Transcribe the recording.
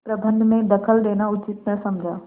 प्रबंध में दखल देना उचित न समझा